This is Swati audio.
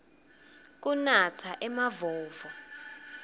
kunatsa emavovo